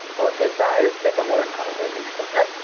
हो ते तर आहेच त्यामुळेच म्हणत आहे मी कसं